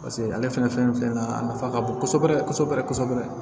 Paseke ale fɛnɛ fɛn filɛ nin ye a nafa ka bon kosɛbɛ kosɛbɛ